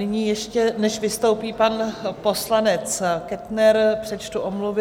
Nyní ještě, než vystoupí pan poslanec Kettner, přečtu omluvy.